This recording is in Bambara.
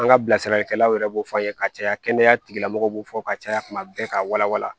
An ka bilasiralikɛlaw yɛrɛ b'o fɔ an ye ka caya kɛnɛya tigilamɔgɔw b'o fɔ ka caya kuma bɛɛ ka walawala